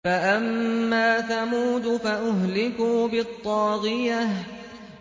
فَأَمَّا ثَمُودُ فَأُهْلِكُوا بِالطَّاغِيَةِ